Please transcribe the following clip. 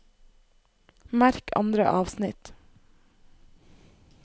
Merk andre avsnitt